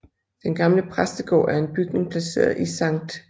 Den gamle præstegård er en bygning placeret i Sct